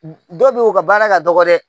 dɔw bɛ ye u ka baara ka dɔgɔ dɛ.